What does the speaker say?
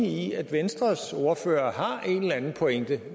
i at venstres ordfører har en eller anden pointe